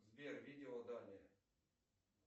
сбер видеоданные